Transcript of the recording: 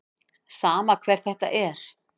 Sama hver þetta er.